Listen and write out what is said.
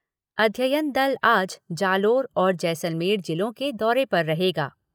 अध्ययन दल आज जालोर और जैसलमेर जिलों के दौरे पर रहेगा।